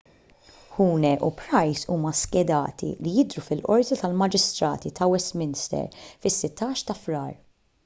huhne u pryce huma skedati li jidhru fil-qorti tal-maġistrati ta' westminster fis-16 ta' frar